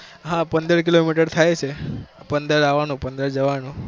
હા પંદર kilo meter થાય છે પંદર આવાનું, પંદર જવાનું.